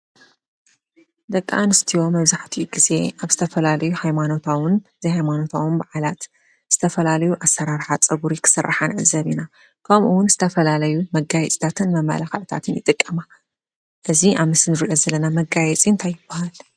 ደቂ አንስትዮ መብዛሕቲኡ ግዜ አብ ዝተፈላለዩን ሃይማኖታውን ዘይሃማኖታዊ በዓላት ዝተፈላለዩ አስራራሓ ፀጉሪ ክስራሓ ንዕዘብ ኢና:: ከምኡ እውን ዝተፈላለየ መጋየፅታትን መመላክዕታትን ይጥቀማ እዚ አብ ምስሊ እንሪኦ ዘለና መጋየፂ እንታይ ይበሃል?